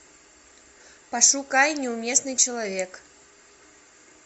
пошукай неуместный человек